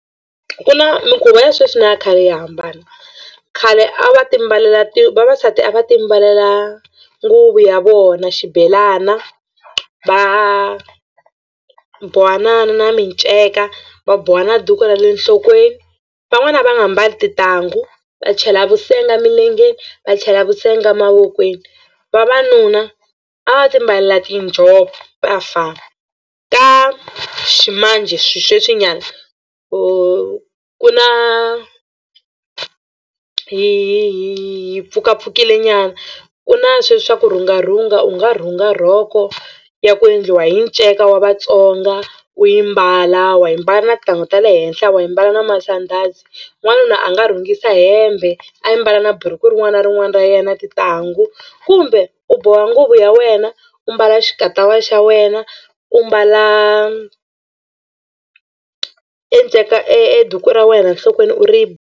Ku na mikhuvo ya sweswi na ya khale ya hambana khale a va timbalela ti vavasati a va timbalela nguvu ya vona xibelana va boha na na na miceka va boha na duku ra le nhlokweni van'wani a va nga mbali tintangu va chela vusenga milengeni va chela vusenga mavokweni. Vavanuna a va timbalela tinjhovo ka ximanjhe xisweswinyana ku na hi hi hi hi hi pfukapfukilenyana ku na swe swi swa kurhungarhunga u nga rhunga rhoko ya ku endliwa hi nceka wa Vatsonga u yi mbala wa yi mbala na tintangu ta le henhla wa yi mbala na masandhazi. N'wanuna a nga rhungisa hembe a yi mbala na buruku rin'wana na rin'wana ra yena tintangu kumbe u boha nguvu ya wena u mbala xikatawa xa wena u mbala e nceka e duku ra wena enhlokweni u ri.